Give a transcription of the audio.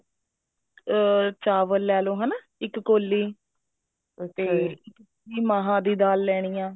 ਅਮ ਚਾਵਲ ਲੈਲੋ ਹਨਾ ਇੱਕ ਕੋਲੀ ਅਤੇ ਮਹਾਂ ਦੀ ਦਾਲ ਲੈਣੀ ਆ